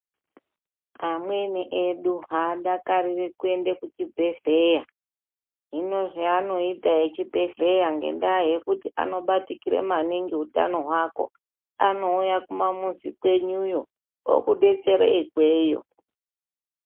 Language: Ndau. Amweni edu haadakariri kuenda kuchibhehleya. Hino zveanoita echibhedhleya ngenda anobatikira maningi utano hwako. Anouya kumamuzi kwenyuyo okudetsere ikweyo.